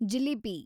jalebi